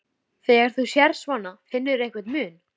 Þór, hringdu í Herleif.